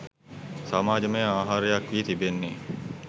සමාජමය ආහාරයක් වී තිබෙන්නේ